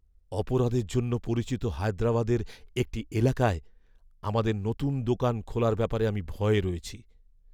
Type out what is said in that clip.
অপরাধের জন্য পরিচিত হায়দ্রাবাদের একটি এলাকায় আমাদের নতুন দোকান খোলার ব্যাপারে আমি ভয়ে আছি।